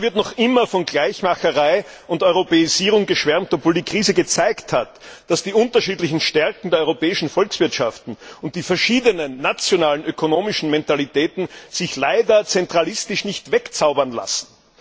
Und da wird noch immer von Gleichmacherei und Europäisierung geschwärmt, obwohl die Krise gezeigt hat, dass sich die unterschiedlichen Stärken der europäischen Volkswirtschaften und die verschiedenen nationalen ökonomischen Mentalitäten leider nicht zentralistisch wegzaubern lassen.